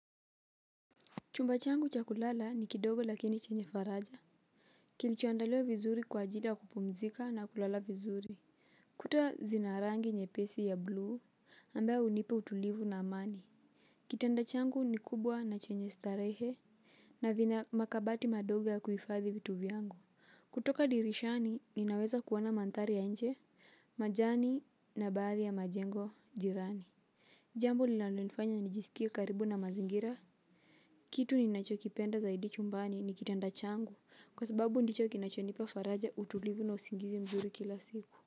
Chumba changu cha kulala ni kidogo lakini chenye faraja kilicho andaliwa vizuri kwa ajili ya kupumzika na kulala vizuri. Kuta zina rangi nyepesi ya bluu ambayo hunipa utulivu na amani kitanda changu ni kubwa na chenye starehe na vina makabati madoga ya kuhifadhi vitu vyangu kutoka dirishani ninaweza kuona manthari ya nje majani na baadhi ya majengo jirani jambo linalonifanya nijisikie karibu na mazingira kitu ninachokipenda zaidi chumbani ni kitanda changu, kwa sababu ndicho kinachonipa faraja utulivu na usingizi mzuri kila siku.